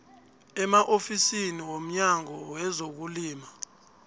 emaofisini womnyango wezokulima